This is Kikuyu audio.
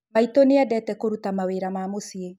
Maitũ nĩendete kũruta mawira ma mũciĩ